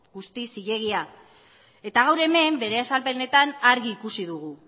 guztiz zilegia eta gaur hemen bere azalpenetan argi ikusi dugu